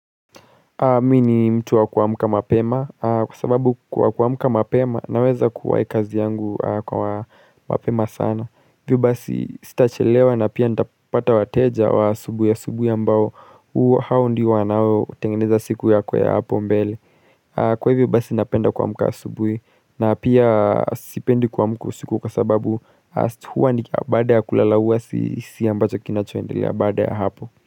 Mimi ni mtu wa kuamka mapema. Kwa sababu kwa kuamka mapema naweza kuwahi kazi yangu kwa mapema sana. Ivyo basi sitachelewa na pia nitapata wateja wa asubui ya asubui ambao hao ndio wanaotengeneza siku yako ya hapo mbele. Kwa hivyo basi napenda kuamka asubui na pia sipendi kuamka siku kwa sababu huwa baada ya kulalaua si si ambacho kinachoendelea baada ya hapo.